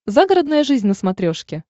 загородная жизнь на смотрешке